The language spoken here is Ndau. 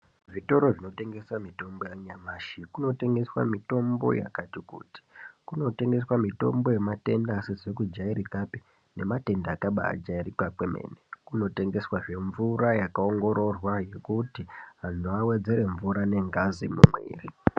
Zvitoro zvinotengesa mitombo yanyamashi kunotengeswa mitombo yakati kuti. Kunotengeswa mitombo yematenda asizi kujairikapi neyakabaajairika kwemene. Kunotengeswazve mvura yakaongororwa kuti vantu vawedzere mvura nengazi mumwiri.